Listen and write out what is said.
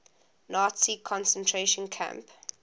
nazi concentration camp